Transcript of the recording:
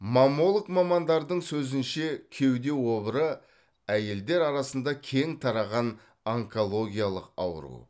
маммолог мамандардың сөзінше кеуде обыры әйелдер арасында кең тараған онкологиялық ауру